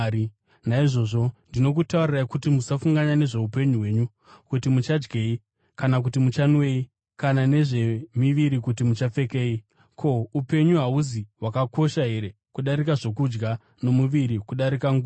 “Naizvozvo ndinokutaurirai kuti, musafunganya nezvoupenyu hwenyu, kuti muchadyei kana kuti muchanwei, kana nezvemiviri kuti muchapfekei. Ko, upenyu hahusi hwakakosha here kudarika zvokudya, nomuviri kudarika nguo?